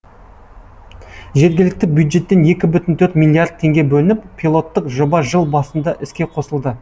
жергілікті бюджеттен екі бүтін төрт миллиард теңге бөлініп пилоттық жоба жыл басында іске қосылды